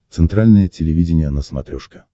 центральное телевидение на смотрешке